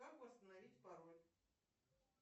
как восстановить пароль